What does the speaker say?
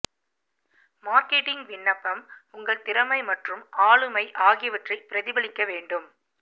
marketing விண்ணப்பம் உங்கள் திறமை மற்றும் ஆளுமை ஆகியவற்றை பிரதிபலிக்க வேண்டும்